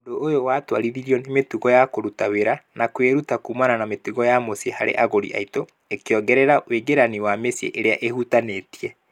"Ũndũ ũyũ watwarithirio nĩ mĩtugo ya kũruta wĩra na kwĩruta kuumana na mitugo ya mũciĩ harĩ agũri aitũ . ĩkĩongerera wingĩrani wa mĩciĩ ĩrĩa ĩhutanĩtie. "